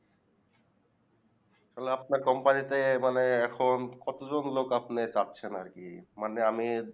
তালে আপনার Company তে মানে এখন কতজন লোক আপনি পাচ্ছেন আরকি মানে আমি